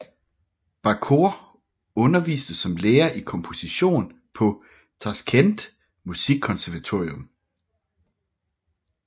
Bakhor underviste som lærer i komposition på Tashkent Musikkonservatorium